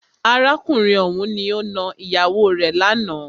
Arákùnrin ọ̀hùn ni o nà ìyàwó rè lánàá.